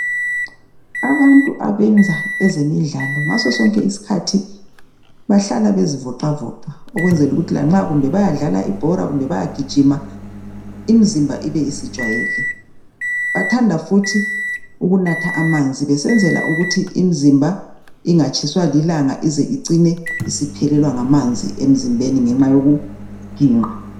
Abantu abenza ezemidlalo ngaso sonke isikhathi bahlala bezivoxavoxa ukwenzela ukuthi lanxa kumbe bayadlala ibhora, kumbe bayagijima imzimba ibe isijwayele. Bathanda futhi ukunatha amanzi besenzela ukuthi imizimba ingatshiswa lilanga ize icine isiphelelwa ngamanzi emzimben ngenxa yokuginqa.